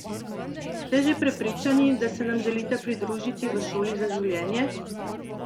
Ste že prepričani, da se nam želite pridružiti v Šoli za življenje?